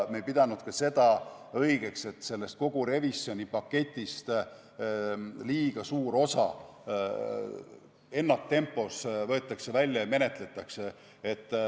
Me ei pidanud ka seda õigeks, et kogu revisjoni paketist liiga suur osa ennaktempos välja võetakse ja seda menetletakse.